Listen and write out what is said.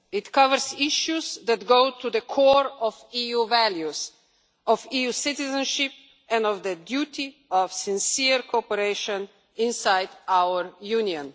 It covers issues that go to the core of EU values, of EU citizenship, and of the duty of sincere cooperation inside our Union.